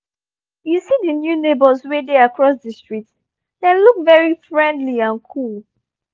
you see the new neighbours wey dey across the street? dem look very friendly and cool